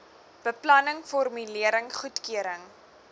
beplanning formulering goedkeuring